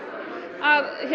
að